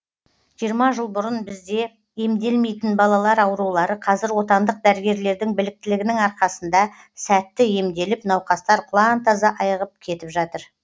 жиырма жыл бұрын бізде емделмейтін балалар аурулары қазір отандық дәрігерлердің біліктілігінің арқасында сәтті емделіп науқастар құлантаза айығып кетіп жатыр